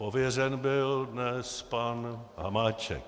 Pověřen byl dnes pan Hamáček.